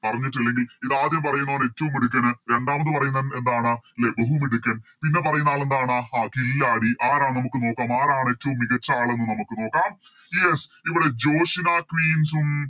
പറഞ്ഞിറ്റില്ലെങ്കിൽ ഇതാദ്യം പറയുന്നവൻ ഏറ്റോം മിടുക്കന് രണ്ടാമത് പറയുന്നവൻ എന്താണ് ലെ ബഹുമിടുക്കാൻ പിന്നെ പറയുന്ന ആളെന്താണ് ആഹ് കില്ലാഡി ആരാ നമുക്ക് നോക്കാം ആരാണ് ഏറ്റോം മികച്ച ആളെന്ന് നമുക്ക് നോക്കാം Yes ഇവിടെ ജോഷി നാദ് Teams ഉം